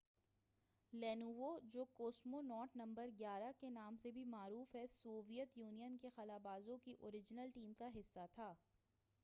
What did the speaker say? Lenovo جو cosmonaut number 11 کے نام سے بھی معروف ہے سوویت یونین کے خلا بازوں کی اوریجنل ٹیم کا حصہ تھا